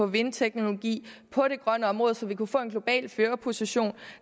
vindteknologi på det grønne område så vi kunne få en global førerposition